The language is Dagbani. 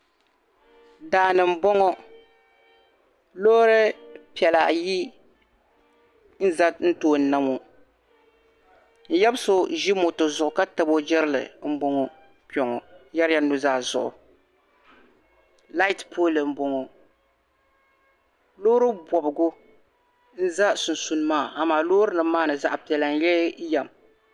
Daani n boŋo loori piɛla ayi n za n tooni na ŋo n yaba so ʒi moto zuɣu ka tabi o jirili n yɛrila nuzaa zuɣu laati pooli n boŋɔ loori bobgu n ʒɛ sunsuuni maa amaa loori nima maa ni zaɣ' piɛla n lee yɛm